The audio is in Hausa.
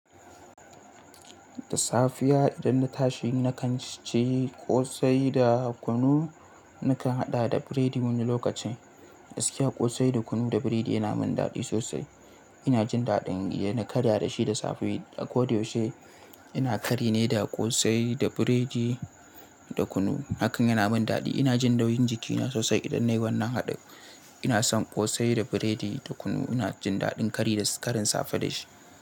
Da safiya idan na tashi nakan ci ƙosai da kunu, nakan haɗa da biredi wani lokacin. Gaskiya ƙosai da kunu da biredi yana min daɗi sosai. Ina jin daɗin in na karya da shi da safe. A ko da yaushe ina kari ne da ƙosai da biredi da kunu. Hakan yana min daɗi. Ina jin nauyin jikina sosai idan nayi wannan haɗin. Ina son ƙosai da biredi da kunu. Ina jin daɗin kari da karin safe da shi.